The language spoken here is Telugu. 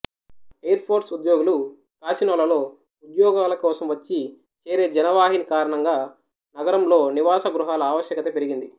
ఎయిర్ ఫోర్స్ ఉద్యోగులు కాసినోలలో ఉద్యోగాల కోసం వచ్చి చేరే జనవాహిని కారణంగా నగరంలో నివాస గృహాల ఆవశ్యకత పెరిగింది